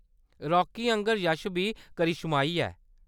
राकी आंह्‌गर यश बी करिश्माई ऐ।